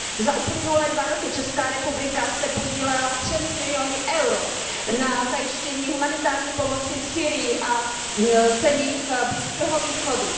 Za uplynulé dva roky se Česká republika podílela třemi miliony EUR na zajištění humanitární pomoci v Sýrii a zemích Blízkého východu.